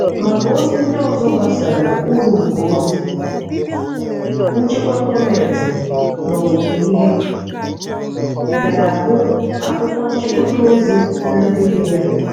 Maka ozi ndị ọzọ gbasara uru nke ozi nchịkwa gọọmenti n'ọmụmụ ihe, gáá hụ akwụkwọ nchịkọta ozi na ndị be ya.